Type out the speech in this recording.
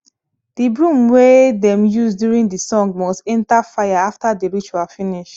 the broom wey dem use during the song must enter fire after the ritual finish